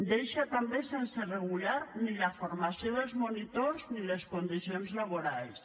deixa també sense regular la formació dels monitors i les condicions laborals